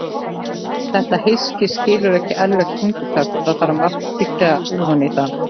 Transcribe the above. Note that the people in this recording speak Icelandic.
Þetta hyski skilur ekki ærlegt tungutak og þarf að margtyggja ofan í það.